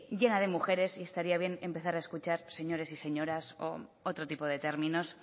llena de mujeres y estaría bien empezar a escuchar señores y señoras u otro tipo de términos